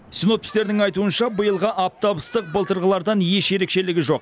синоптиктердің айтуынша биылғы аптап ыстық былтырғыдан еш ерекшелігі жоқ